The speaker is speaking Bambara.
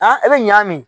e bɛ ɲam